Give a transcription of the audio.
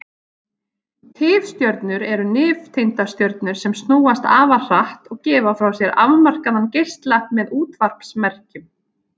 Tifstjörnur eru nifteindastjörnur sem snúast afar hratt og gefa frá sér afmarkaðan geisla með útvarpsmerkjum.